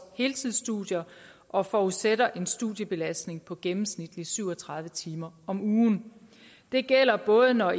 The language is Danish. heltidsstudier og forudsætter en studiebelastning på gennemsnitligt syv og tredive timer om ugen det gælder både når